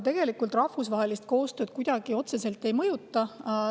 Tegelikult rahvusvahelist koostööd see otseselt kuidagi ei mõjuta.